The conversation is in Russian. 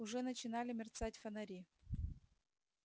уже начинали мерцать фонари